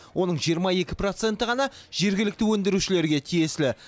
оның жиырма екі проценті ғана жергілікті өндірушілерге тиесілі